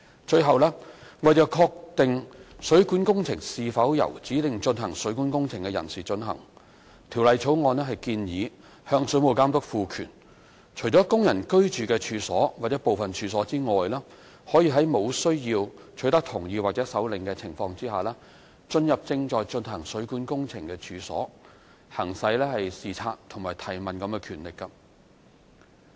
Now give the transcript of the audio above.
最後，為確定水管工程是否由指定進行水管工程的人士進行，《條例草案》建議向水務監督賦權，除供人居住的處所或部分處所外，可在無須取得同意或手令的情況下，進入正進行水管工程的處所，行使視察及提問等權力。